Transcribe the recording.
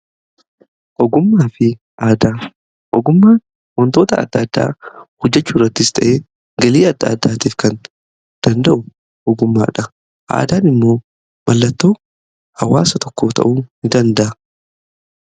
Ogummaa fi aadaa ogummaan wantoota adda addaa hojjechuu irrattis ta'e galii adda addaatiif kan danda'u ogummaadha. Aadaan immoo mallattoo hawaasa tokko ta'uu ni danda'a.